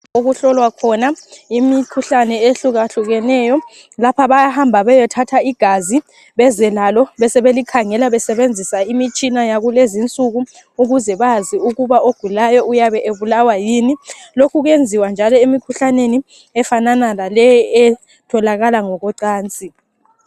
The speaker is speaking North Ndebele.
Okuhlolwa khona imikhuhlane ehluka hlukeneyo lapha bayahamba beyothatha igazi beze lalo bebesebe likhangela besebenzisa imitshina yakulezi insuku ukuze bazi ukuba ogulayo uyabe ebulawa yini lokhu kwenziwa njalo emikhuhlaneni efanana laleyi etholakala ngokocansi.